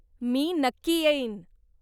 मी नक्की येईन.